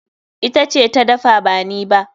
Ita ce ta dafa ba ni ba.